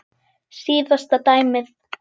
Síðasta dæmið.